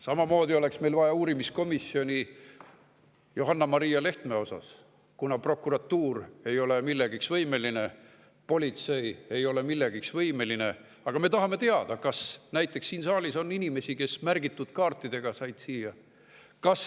Samamoodi oleks meil vaja uurimiskomisjoni Johanna-Maria Lehtme asjus, kuna prokuratuur ei ole millekski võimeline, politsei ei ole millekski võimeline, aga me tahame teada, kas näiteks siin saalis on inimesi, kes märgitud kaartidega siia said.